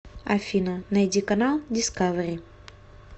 афина найди канал дискавери